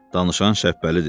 Danışan Şəbbəlidir.